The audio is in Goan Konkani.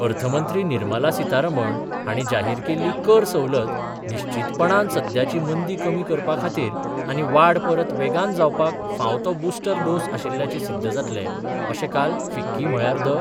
अर्थमंत्री निर्मला सीतारमण हाणी जाहीर केल्ली कर सवलत निश्चितपणान सद्याची मंदी कमी करपाखातीर आनी वाड परत वेगान जावपाक फांव तो बुस्टर डोस आशिल्ल्याचे सिध्द जातले, अशे काल फीक्की म्हळ्यार 'द